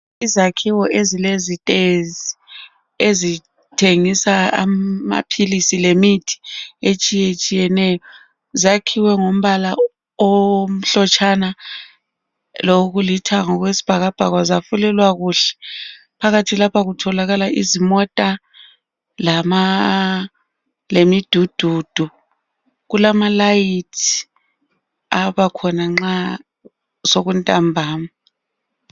izakhiwo ezilezitezi ezithengisa maphilisi lemithi etshiyetshiyeneyo zakhiwe ngombala omhlotshana lokulithanga okwesibhakabhaka zafulelwa kuhle phakathi lapha kutholakala izimota lemidududu kulamalayithi abakhona nxa sekuntambama